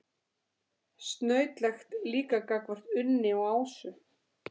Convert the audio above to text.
Snautlegt líka gagnvart Unni og Ásu.